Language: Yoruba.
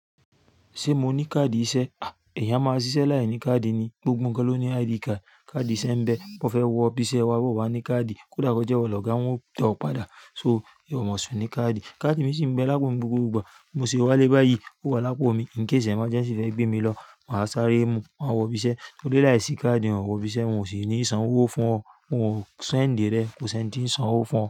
Ṣé mo ní káàdì iṣẹ́? À, eeyàn a máa ṣiṣẹ́ láìní káàdì ni. Gbgbo nkan ló ní ID card. Kaadi ìṣe ń bẹ, mo fẹ́ wọ ibi iṣẹ́ wa, o wa ní káàdì, kódà kí ó jẹ́ iwọ̀ lọ́ga wọ́n ó tọ ọ́ padà. So, ìwọ ò mọ̀ sùn ní káàdì. Kaadi mi sì ń bẹ lápò mi ni gbogbo ìgbà. Mo sì wálé báyi, ó wà lápò mi. N kí ìṣẹ́ emergency fẹ́ gbé mi lọ, máa sáré mu, máa wọ ibi iṣẹ́. Mo dé láìsí káàdì, ò wọ ibi iṣẹ́, n ò sì ní sán owó fún ọ. Mo ò send ẹ rẹ̀, ko sì ń ti san owó fún ọ.